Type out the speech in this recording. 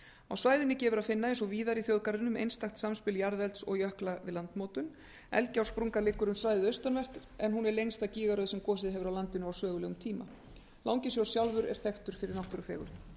á svæðinu gefur að finna eins og víðar í þjóðgarðinum einstakt samspil jarðelds og jökla við landmótun eldgjársprungan liggur um svæðið austanvert en hún er lengsta gígaröð sem gosið hefur á landinu á sögulegum tíma langisjór sjálfur er þekktur fyrir náttúrufegurð